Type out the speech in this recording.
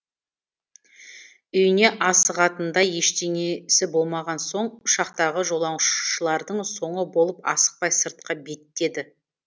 үйіне асығатындай ештеңесі болмаған соң ұшақтағы жолаушылардың соңы болып асықпай сыртқа беттеді